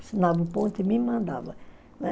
Assinava o ponto e me mandava.